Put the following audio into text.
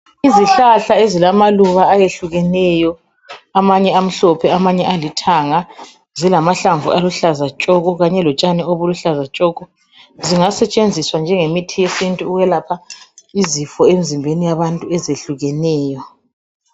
Izihlahla ezilamaluba ayehlukeneyo, amanye amhlophe, amanye alithanga, zilamahlamvu aluhlaza tshoko, kanye lotshani oluluhlaza tshoko, zingasetshenziswa njengemithi yesintu ukwelapha izifo emzimbeni yabantu .